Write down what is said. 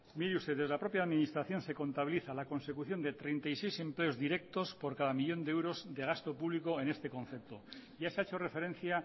mire usted desde la propia administración se contabiliza la consecución de treinta y seis empleos directos por cada millón de euros de gasto público en este concepto ya se ha hecho referencia